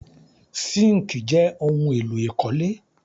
Síńkì jẹ́ ohun-èlò ìkọ́lé.